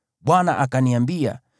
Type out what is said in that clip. Bwana akaniambia,